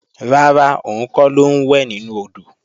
Rárá, òun kọ́ ló ń wẹ̀ nínú odò